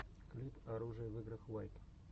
клип оружие в играх уайт